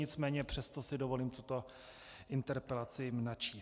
Nicméně přesto si dovolím tuto interpelaci načíst.